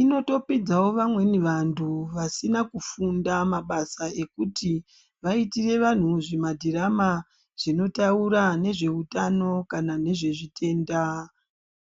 Inotopidzawo vamweni vanhu vasina kufunda mabasa ekuti vaitire vanhu zvimadhirama zvinotaura nezveutano kana nezvezvitenda.